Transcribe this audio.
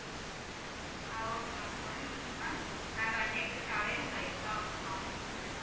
ஆஹ் okay ma'am ஒரு நிமிஷம் ma'am நாங்க அது எங்களுக்கு available ஆ இருக்கா அப்படின்னு பார்த்துட்டு சொல்றேன் ma'am